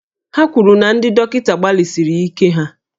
Ha kwuru na ndị dọkịta gbalịsiri ike ha